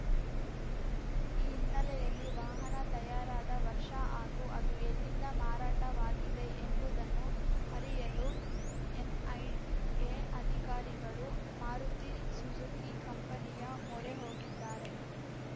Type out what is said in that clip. ಈ ಹಿನ್ನೆಲೆಯಲ್ಲಿ ವಾಹನ ತಯಾರಾದ ವರ್ಷ ಹಾಗೂ ಅದು ಎಲ್ಲಿಂದ ಮಾರಾಟವಾಗಿದೆ ಎಂಬುದನ್ನು ಅರಿಯಲು ಎನ್‌ಐಎ ಅಧಿಕಾರಿಗಳು ಮಾರುತಿ ಸುಜುಕಿ ಕಂಪನಿಯ ಮೊರೆ ಹೋಗಿದ್ದಾರೆ